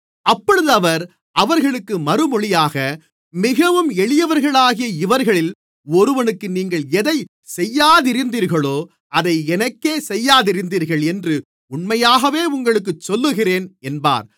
அப்பொழுது அவர் அவர்களுக்கு மறுமொழியாக மிகவும் எளியவர்களாகிய இவர்களில் ஒருவனுக்கு நீங்கள் எதைச் செய்யாதிருந்தீர்களோ அதை எனக்கே செய்யாதிருந்தீர்கள் என்று உண்மையாகவே உங்களுக்குச் சொல்லுகிறேன் என்பார்